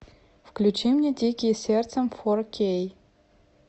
включи мне дикие сердцем фор кей